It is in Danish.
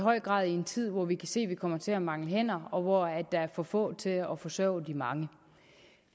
høj grad i en tid hvor vi kan se at vi kommer til at mangle hænder og hvor der er for få til at forsørge de mange